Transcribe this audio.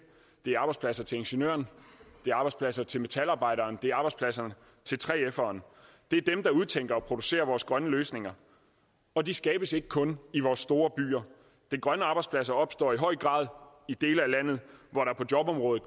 det er arbejdspladser til ingeniøren det er arbejdspladser til metalarbejderen det er arbejdspladser til 3feren det er dem der udtænker og producerer vores grønne løsninger og de skabes ikke kun i vores store byer den grønne arbejdsplads opstår i høj grad i dele af landet hvor der på jobområdet